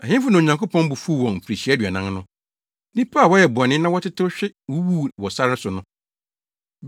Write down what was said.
Ɛhefo na Onyankopɔn bo fuw wɔn mfirihyia aduanan no? Nnipa a wɔyɛɛ bɔne na wɔtetew hwe wuwuu wɔ sare so no.